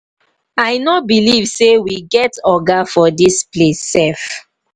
i no believe say we get oga for dis place sef.